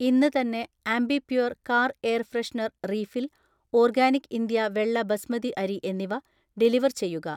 ഇന്ന് തന്നെ Ambi Pur‍ car air freshener refill, organic India വെള്ള ബസ്മതി അരി എന്നിവ ഡെലിവർ ചെയ്യുക